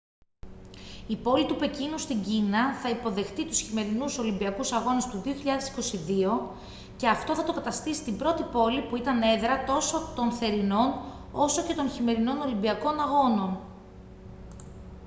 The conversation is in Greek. η πόλη του πεκίνου στην κίνα θα υποδεχτεί τους χειμερινούς ολυμπιακούς αγώνες του 2022 και αυτό θα το καταστήσει την πρώτη πόλη που ήταν έδρα τόσο των θερινών όσο και των χειμερινών ολυμπιακών αγώνων